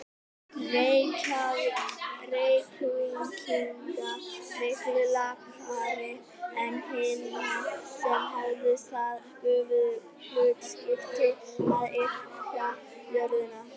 Reykvíkinga miklu lakari en hinna, sem hefðu það göfuga hlutskipti að yrkja jörðina.